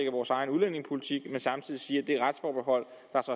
vores egen udlændingepolitik men samtidig siger at det retsforbehold